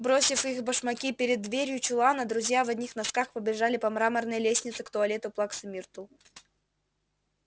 бросив их башмаки перед дверью чулана друзья в одних носках побежали по мраморной лестнице к туалету плаксы миртл